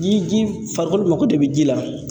Ni ji farikolo mago de bɛ ji la